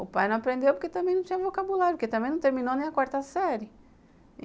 O pai não aprendeu porque também não tinha vocabulário, porque também não terminou nem a quarta série.